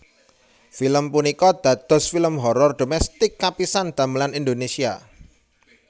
Film punika dados film horor dhomestik kapisan damelan Indonesia